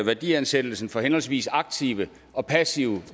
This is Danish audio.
værdiansættelsen for henholdsvis aktive og passive